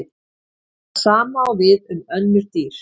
Það sama á við um önnur dýr.